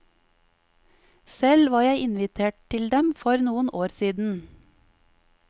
Selv var jeg invitert til dem for noen år siden.